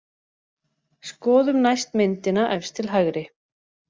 Skoðum næst myndina efst til hægri.